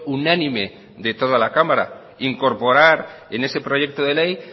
unánime de toda la cámara incorporar en ese proyecto de ley